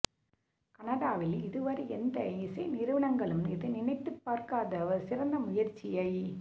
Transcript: கனடாவில் இதுவரை எந்த இசை நிறுவனங்களும் நினைத்துப்பார்க்காத ஒருசிறந்த முயற்சியை